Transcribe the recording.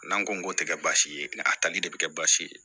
N'an ko k'o te kɛ baasi ye a tali de be kɛ baasi ye